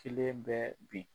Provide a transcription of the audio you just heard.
Selen bɛ bin .